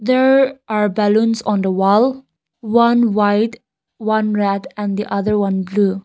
there are balloons on the wall one white one red and the other one blue.